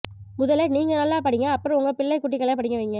முதல நீங்க நல்லா படிங்க அப்புறம் உங்க பிள்ளை குட்டிகளை படிக்க வைங்க